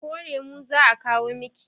ko lemo za a kawo Miki?